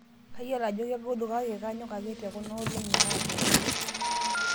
Kayiolo ajo kegolu kake kanyok ake tekuna olong'i naaponu